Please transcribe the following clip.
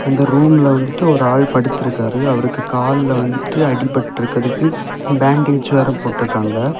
அந்த ரூம்ல வந்துட்டு ஒரு ஆள் படுத்திருக்காரு அவருக்கு கால்லெ வந்துட்டு அடிபட்டிருக்குறதுக்கு பேண்டேஜ் வேரெ போட்டிருக்காங்க.